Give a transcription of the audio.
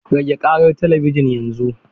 Rage ƙarar talabijin yanzu!